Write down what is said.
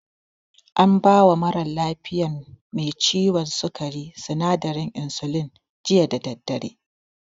An bawa mara lafiyan me ciwon sukari sinadarin insulin, jiya da daddare.